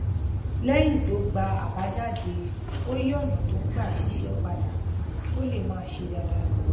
léyìn tó gba àbájáde ó yí ònà tó gbà ń ṣiṣé padà kó lè máa ṣe dáadáa